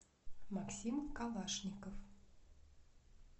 максим калашников